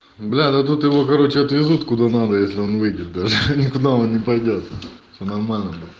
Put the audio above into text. да да тут его короче отвезут куда надо если он выпьет даже никуда он не пойдёт нормально буде